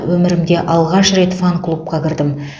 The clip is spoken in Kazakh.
өмірімде алғаш рет фан клубқа кірдім